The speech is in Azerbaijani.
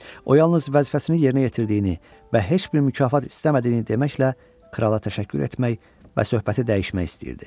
O yalnız vəzifəsini yerinə yetirdiyini və heç bir mükafat istəmədiyini deməklə krala təşəkkür etmək və söhbəti dəyişmək istəyirdi.